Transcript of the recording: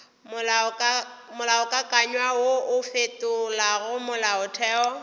molaokakanywa wo o fetolago molaotheo